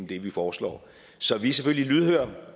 det vi foreslår så vi er selvfølgelig lydhøre